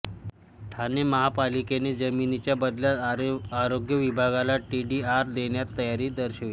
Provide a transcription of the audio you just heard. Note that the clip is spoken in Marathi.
ठाणे महापालिकेने जमिनीच्या बदल्यात आरोग्य विभागाला टीडीआर देण्याची तयारी दर्शवली